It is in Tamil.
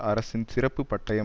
அரசின் சிறப்பு பட்டயம்